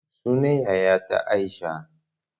Sunan yayata aisha